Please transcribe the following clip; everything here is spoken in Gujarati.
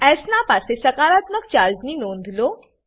એસ ના પાસે સકારાત્મક ચાર્જની નોંધ લો